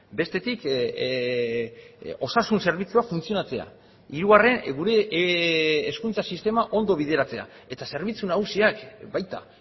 bestetik osasun zerbitzua funtzionatzea hirugarren gure hezkuntza sistema ondo bideratzea eta zerbitzu nagusiak baita